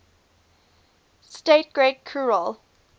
state great khural